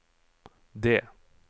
D